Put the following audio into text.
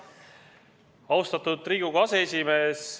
Austatud Riigikogu aseesimees!